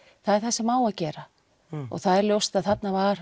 það er það sem á að gera og það er ljóst að þarna var